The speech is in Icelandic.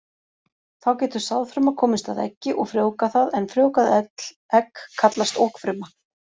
Þá getur sáðfruma komist að eggi og frjóvgað það, en frjóvgað egg kallast okfruma.